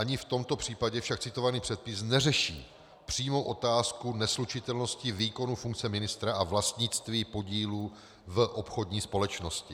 Ani v tomto případě však citovaný předpis neřeší přímo otázku neslučitelnosti výkonu funkce ministra a vlastnictví podílu v obchodní společnosti.